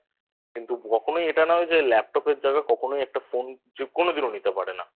কিন্তু কখনোই এটা নয় যে Laptop এর জায়গায় কখনোই একটা Phone যে কোনদিনও নিতে পারে না